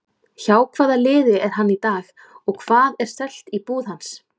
Hjá hvaða liði er hann í dag og hvað er selt í búð hans?